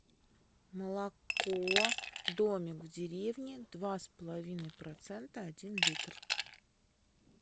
молоко домик в деревне два с половиной процента один литр